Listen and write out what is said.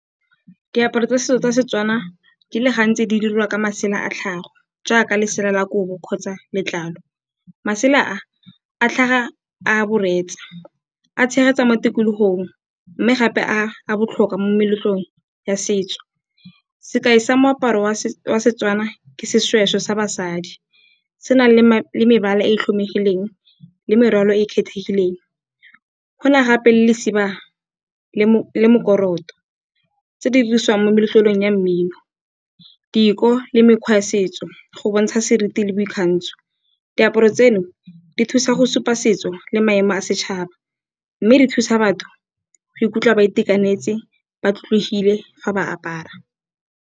Diaparo tsa setso tsa Setswana di le gantsi di dirwa ka masela a tlhago jaaka lesela la kobo kgotsa letlalo. Masela a a tlhaga a boreetsa, a tshegetsa mo tikologong mme gape a botlhokwa mo meletlong ya setso. Sekai sa moaparo wa Setswana ke seshweshwe sa basadi se nang le mebala e tlhomegileng le morwalo e e kgethegileng. Go na gape le lesimaga le mokorotlo tse di dirisiwang mo meletlelong ya mmino, diko le mekgwa ya setso go bontsha seriti le boikgantsho. Diaparo tseno di thusa go supa setso le maemo a setšhaba, mme di thusa batho go ikutlwa ba itekanetse ba tlotlegile fa ba apara.